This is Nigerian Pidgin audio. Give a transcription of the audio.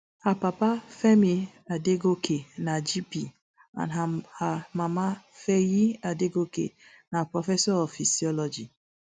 her papa femi adegoke na gp and her her mama feyi adegoke na professor of physiology